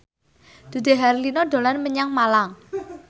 Dude Herlino dolan menyang Malang